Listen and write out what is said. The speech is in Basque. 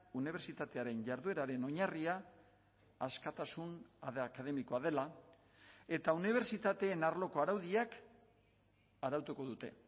unibertsitatearen jardueraren oinarria askatasun akademikoa dela eta unibertsitateen arloko araudiak arautuko dute